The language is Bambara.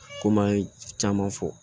Komi an ye caman fɔ